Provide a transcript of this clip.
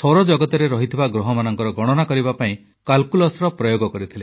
ସୌରଜଗତରେ ଥିବା ଗ୍ରହମାନଙ୍କର ଗଣନା କରିବା ପାଇଁ କାଲକୁଲସର ପ୍ରୟୋଗ କରିଥିଲେ